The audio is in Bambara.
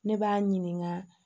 Ne b'a ɲininka